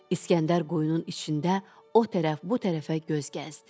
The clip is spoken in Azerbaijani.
İsgəndər quyunun içində o tərəf bu tərəfə göz gəzdi.